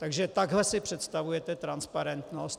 Takže takhle si představujete transparentnost?